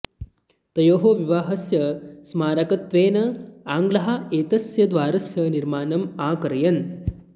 तयोः विवाहस्य स्मारकत्वेन आङ्ग्लाः एतस्य द्वारस्य निर्माणम् अकारयन्